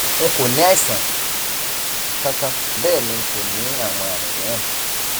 n kò ní àìsàn kankan bẹẹ ni n kò ní àwọn àmì mìíràn